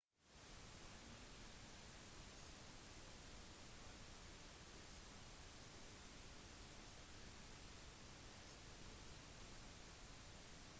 i mange land med en slik lov vil lokale hoteller ta seg av registreringen pass på å undersøke